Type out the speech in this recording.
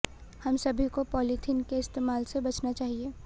हम सभी को पॉलीथिन के इस्तेमाल से बचना चाहिए